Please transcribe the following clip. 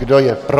Kdo je pro?